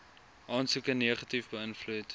aansoeke negatief beïnvloed